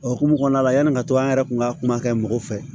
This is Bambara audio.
O hukumu kɔnɔna la yanni ka to an yɛrɛ kun ka kuma kɛ mɔgɔ fɛ